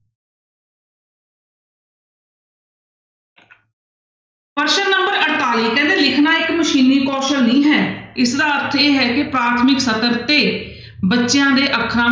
ਪ੍ਰਸ਼ਨ number ਅੜਤਾਲੀ ਕਹਿੰਦੇੇ ਲਿਖਣਾ ਇੱਕ ਮਸ਼ੀਨੀ ਕੌਸਲ ਨਹੀਂ ਹੈ ਇਸਦਾ ਅਰਥ ਇਹ ਹੈ ਕਿ ਪ੍ਰਾਥਮਿਕ ਸਤਰ ਤੇ ਬੱਚਿਆਂ ਦੇ ਅੱਖਾਂ,